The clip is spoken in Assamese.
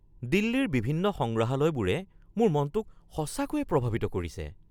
দিল্লীৰ বিভিন্ন সংগ্ৰহালয়বোৰে মোৰ মনটোক সঁচাকৈয়ে প্ৰভাৱিত কৰিছে।